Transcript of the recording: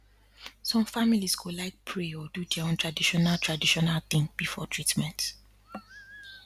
some families go like pray or do their own traditional traditional thing before treatment